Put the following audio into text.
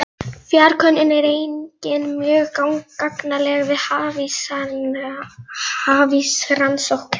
Fjarkönnun er einnig mjög gagnleg við hafísrannsóknir.